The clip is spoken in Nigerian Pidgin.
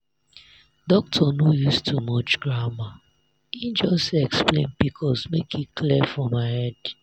doctor no use too much grammar e just explain pcos make e clear for my head.